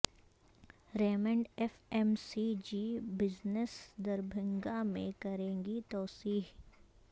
Raymond F M C G business Darbhanga میں کرے گی توسیع